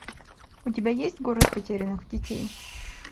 у тебя есть город потерянных детей